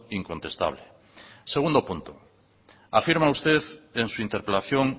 incontestable segundo punto afirma usted en su interpelación